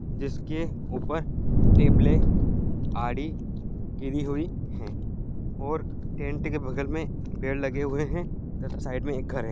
जिसके ऊपर टेबलें आरी गिरी हुई है और टेंट के बगल में पेड़ लगे हुए हैं तथा साइड में एक घर है।